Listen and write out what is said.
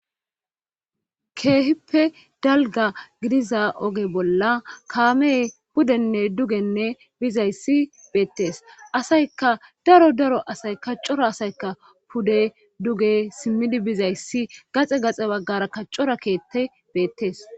Keehippe dalga gidiza oge bolla kaame pudenne dugenne bizayssi beettees asayka daro daro asay ka cora asayka pude duge simmidi bizayssi gaxe gaxe baggara ka cora keette beettees.